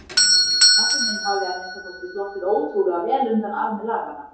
Pabbi minn hafði að minnsta kosti sloppið ótrúlega vel undan armi laganna.